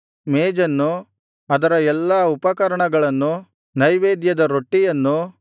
ಮೇಜನ್ನು ಅದರ ಎಲ್ಲಾ ಉಪಕರಣಗಳನ್ನು ನೈವೇದ್ಯದ ರೊಟ್ಟಿಯನ್ನು